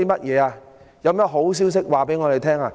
有甚麼好消息向我們公布？